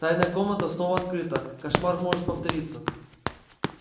тайная комната снова открыта кошмар может повториться